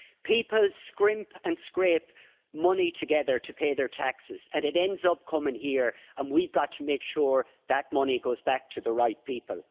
People scrimp and scrape money together to pay their taxes, and it ends up coming here. We've got to make sure that that money goes back to the right people.